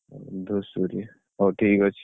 ଧୂସୁରୀ ହଉ ଠିକ୍ ଅଛି।